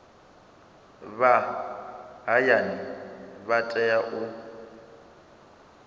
vha hayani vha tea u